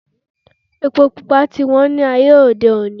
Epo pupa ti wón ni ayé òde oní